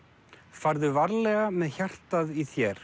farðu varlega með hjartað í þér